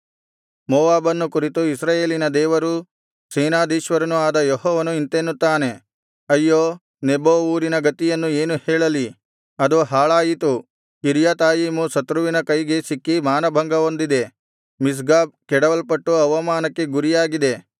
ಮೋವಾಬನನ್ನು ಕುರಿತು ಇಸ್ರಾಯೇಲಿನ ದೇವರೂ ಸೇನಾಧೀಶ್ವರನೂ ಆದ ಯೆಹೋವನು ಇಂತೆನ್ನುತ್ತಾನೆ ಅಯ್ಯೋ ನೆಬೋ ಊರಿನ ಗತಿಯನ್ನು ಏನು ಹೇಳಲಿ ಅದು ಹಾಳಾಯಿತು ಕಿರ್ಯಾತಯಿಮು ಶತ್ರುವಿನ ಕೈಗೆ ಸಿಕ್ಕಿ ಮಾನಭಂಗ ಹೊಂದಿದೆ ಮಿಸ್ಗಾಬ್ ಕೆಡವಲ್ಪಟ್ಟು ಅವಮಾನಕ್ಕೆ ಗುರಿಯಾಗಿದೆ